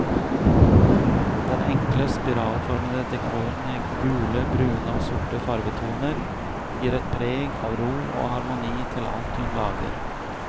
Den enkle, spiralformede dekoren i gule, brune og sorte farvetoner gir et preg av ro og harmoni til alt hun lager.